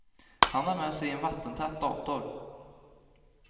Han har med sig en vattentät dator.